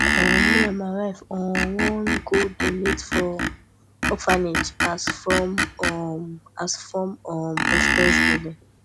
um me and my wife um wan go donate for orphanage as form um as form um of thanksgiving